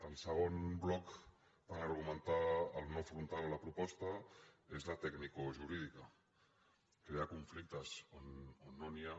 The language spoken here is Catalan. el segon bloc per argumentar el no frontal a la proposta és la tecnicojurídica crear conflictes on no n’hi ha